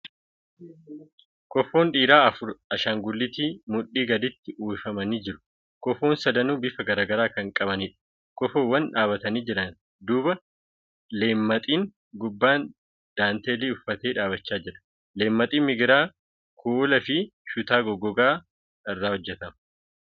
Kofoon dhiiraa afur ashaangulliitii mudhii gadiitti uwwifamanii jiru. Kofoon sadanuu bifa gara garaa kan qabaniidha. Kofoowwan dhaabbatanii jiran duuba leemmaxiin gubbaan daanteelii uffate dhaabbachaa jira. Leemmaxiin migiraa , kuula fi shutaa goggogaa irraa hojjatama.